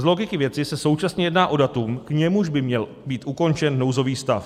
Z logiky věci se současně jedná o datum, k němuž by měl být ukončen nouzový stav.